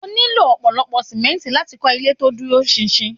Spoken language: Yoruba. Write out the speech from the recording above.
O nílò ọ̀pọ̀lọ́pọ̀ sìmẹ́ǹtì láti kọ́ ilé to dúró ṣinṣin.